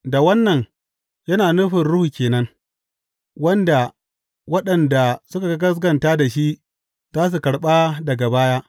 Da wannan yana nufin Ruhu ke nan, wanda waɗanda suka gaskata da shi za su karɓa daga baya.